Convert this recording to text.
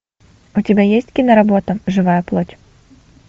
у тебя есть киноработа живая плоть